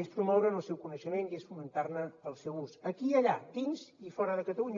és promoure el seu coneixement i fomentar el seu ús aquí i allà dins i fora de catalunya